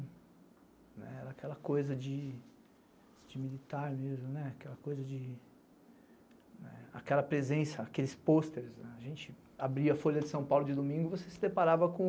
Era aquela coisa de militar mesmo, aquela coisa de... aquela presença, aqueles posters, a gente abria a Folha de São Paulo de domingo e você se deparava com